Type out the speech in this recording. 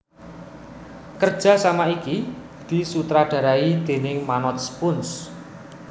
Kerjasama iki disutradarai déning Manoj Punj